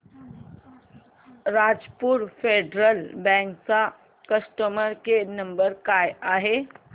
Rajapur Federal Bank चा customer care number काय आहे